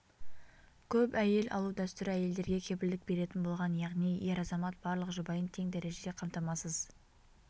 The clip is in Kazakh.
көп әйел алу дәстүрі әйелдерге кепілдік беретін болған яғни ер азамат барлық жұбайын тең дәрежеде қамтамасыз